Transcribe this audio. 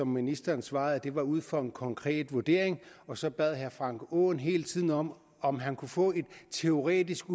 ministeren svarede at det var ud fra en konkret vurdering og så bad herre frank aaen hele tiden om om at få en teoretisk